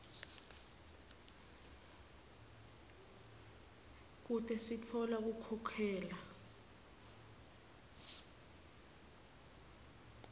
kute sitfola kukhokhela